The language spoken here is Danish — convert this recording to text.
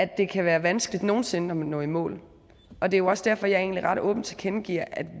det kan være vanskeligt nogen sinde at nå i mål og det er jo også derfor jeg egentlig ret åbent tilkendegiver at